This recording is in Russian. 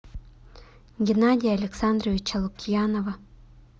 геннадия александровича лукьянова